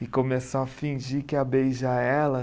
E começou a fingir que ia beijar ela.